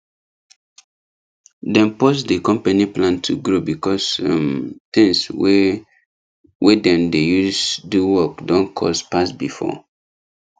dem pause the company plan to grow because um things wey wey dem dey use do work don cost pass before